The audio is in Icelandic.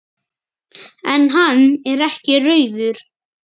En hann er ekki rauður.